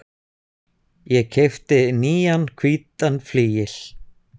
Ég keypti nýjan hvítan flygil.